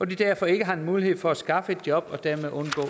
de derfor ikke har mulighed for at skaffe et job og dermed undgå